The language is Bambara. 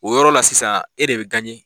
O yɔrɔ la sisan e de bɛ